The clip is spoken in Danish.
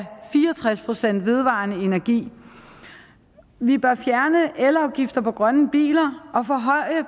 fire og tres procent vedvarende energi vi bør fjerne elafgifter på grønne biler og forhøje